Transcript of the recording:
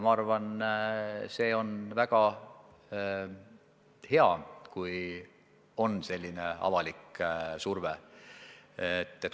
Ma arvan, et avaliku surve olemasolu on väga hea.